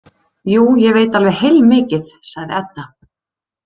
Jú, ég veit alveg heilmikið, sagði Edda.